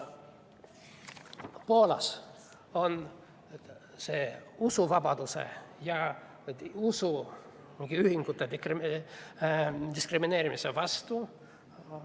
Poolas on see usuvabaduse ja usuühingute diskrimineerimise vastu.